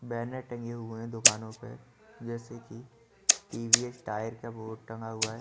Banner टंगे हुए है दुकानों पे जेसे की टी_वि_एस टायर का वो टंगा हुआ है।